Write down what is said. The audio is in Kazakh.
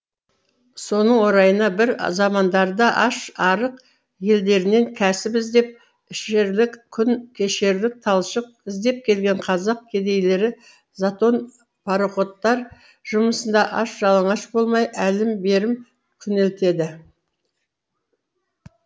соның орайына бір замандарда аш арық елдерінен кәсіп іздеп ішерлік күн кешерлік талшық іздеп келген қазақ кедейлері затон пароходтар жұмысында аш жалаңаш болмай әлім берім күнелтеді